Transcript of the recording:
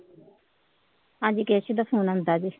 ਹਾਂਜੀ ਕੇਸ਼ਵ ਦਾ ਫੋਨ ਆਉਂਦਾ ਜੇ